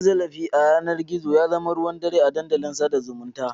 Cin zarafi ta yanar gizo ya zama ruwan dare a dandalin sada zumunta.